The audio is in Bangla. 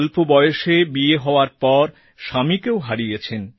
অল্প বয়সে বিয়ে হওয়ার পর স্বামীকেও হারান